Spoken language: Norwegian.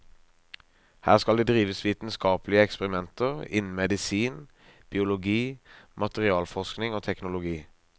Her skal det drives vitenskapelige eksperimenter innen medisin, biologi, materialforskning og teknologi.